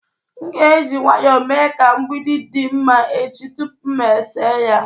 M ga-eji nwayọọ mee ka mgbidi dị mma echi tupu m ese ya.